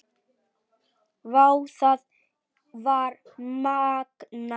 Vá, það var magnað.